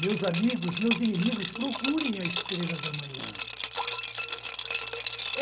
Meus amigos, meus inimigos, procurem a estrela da manhã.